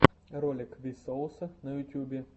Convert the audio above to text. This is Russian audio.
ролик ви соуса на ютюбе